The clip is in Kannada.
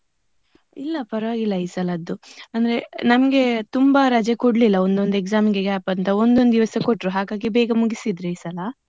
ಇಲ್ಲ ಪರವಾಗಿಲ್ಲ ಈ ಸಲದ್ದು. ಅಂದ್ರೆ ನಮ್ಗೆ ತುಂಬಾ ರಜೆ ಕೊಡಲಿಲ್ಲ, ಒಂದ್ ಒಂದ್ exam ಗೆ gap ಅಂತ ಒಂದ್ ಒಂದ್ ದಿವಸ ಕೊಟ್ರು ಹಾಗಾಗಿ ಬೇಗ ಮುಗಿಸಿದ್ದ್ರು ಈ ಸಲ.